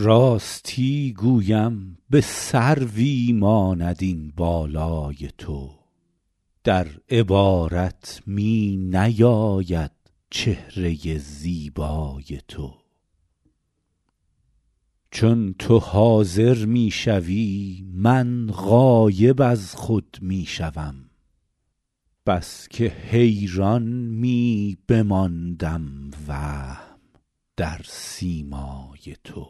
راستی گویم به سروی ماند این بالای تو در عبارت می نیاید چهره زیبای تو چون تو حاضر می شوی من غایب از خود می شوم بس که حیران می بماندم وهم در سیمای تو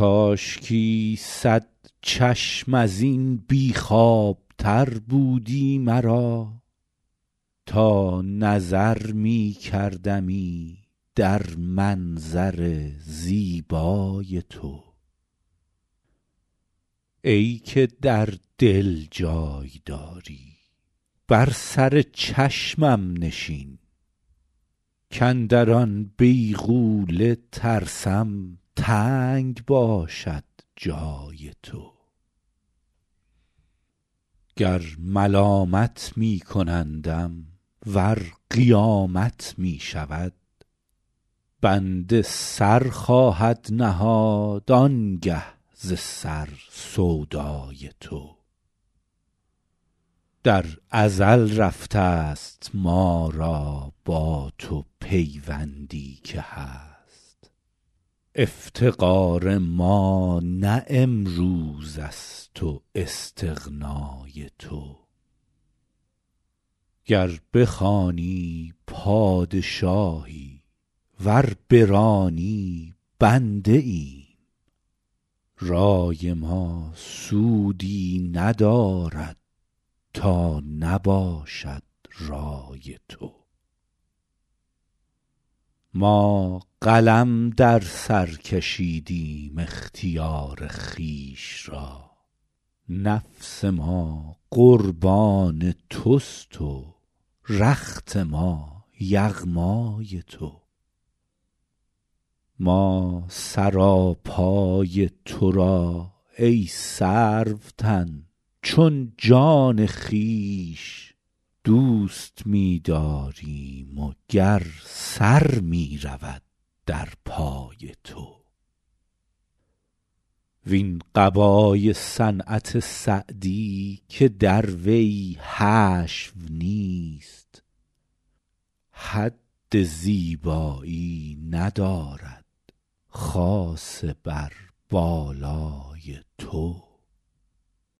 کاشکی صد چشم از این بی خوابتر بودی مرا تا نظر می کردمی در منظر زیبای تو ای که در دل جای داری بر سر چشمم نشین کاندر آن بیغوله ترسم تنگ باشد جای تو گر ملامت می کنندم ور قیامت می شود بنده سر خواهد نهاد آن گه ز سر سودای تو در ازل رفته ست ما را با تو پیوندی که هست افتقار ما نه امروز است و استغنای تو گر بخوانی پادشاهی ور برانی بنده ایم رای ما سودی ندارد تا نباشد رای تو ما قلم در سر کشیدیم اختیار خویش را نفس ما قربان توست و رخت ما یغمای تو ما سراپای تو را ای سروتن چون جان خویش دوست می داریم و گر سر می رود در پای تو وین قبای صنعت سعدی که در وی حشو نیست حد زیبایی ندارد خاصه بر بالای تو